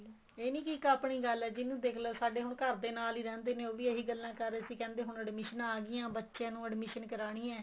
ਇਹ ਨਹੀਂ ਕੇ ਇੱਕ ਆਪਣੀ ਗੱਲ ਏ ਜਿਹਨੂੰ ਦੇਖਲੋ ਸਾਡੇ ਹੁਣ ਘਰ ਦੇ ਨਾਲ ਹੀ ਰਹਿੰਦੇ ਨੇ ਉਹ ਵੀ ਇਹੀ ਗੱਲਾਂ ਕਰ ਰਹੇ ਸੀ ਕਹਿੰਦੇ ਹੁਣ admission ਆ ਗਈਆਂ ਬੱਚੇ ਨੂੰ admission ਕਰਾਣੀ ਏ